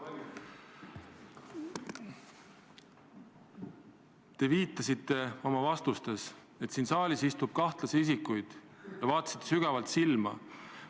Te viitasite oma vastuses, et siin saalis istub kahtlasi isikuid, ja vaatasite sügavalt silma.